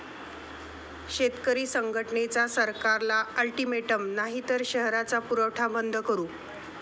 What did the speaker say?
शेतकरी संघटनेचा सरकारला अल्टीमेटम, नाहीतर शहराचा पुरवठा बंद करू!